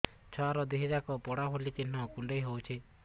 ଛୁଆର ଦିହ ଯାକ ପୋଡା ଭଳି ଚି଼ହ୍ନ କୁଣ୍ଡେଇ ହଉଛି